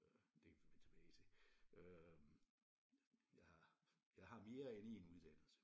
Øh det kan vi vende tilbage til øh jeg har jeg har mere end én uddannelse